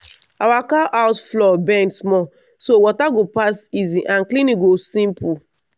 our cow house floor bend small so water go pass easy and cleaning go simple.